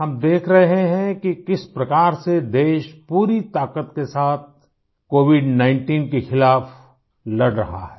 हम देख रहे हैं कि किस प्रकार से देश पूरी ताक़त के साथ COVID19 के खिलाफ़ लड़ रहा है